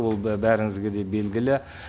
ол бәріңізге де белгілі